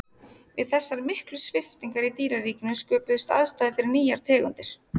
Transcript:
við þessar miklu sviptingar í dýraríkinu sköpuðust aðstæður fyrir nýjar tegundir